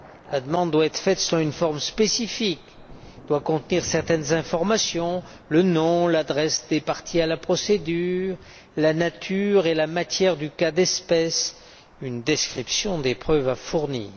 La demande doit être faite selon une forme spécifique et contenir certaines informations le nom, l'adresse des parties à la procédure, la nature et la matière du cas d'espèce, une description des preuves à fournir.